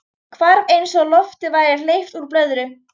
Hvarf eins og lofti væri hleypt úr blöðru.